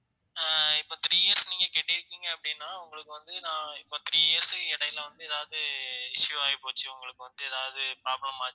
ஆஹ் இப்ப three years நீங்க கட்டி இருக்கீங்க அப்படினா உங்களுக்கு வந்து நான் இப்ப three years க்கு இடையில வந்து ஏதாவது issue ஆகிப்போச்சு உங்களுக்கு வந்து ஏதாவது problem ஆச்சு